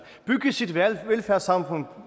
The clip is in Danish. bygge sit velfærdssamfund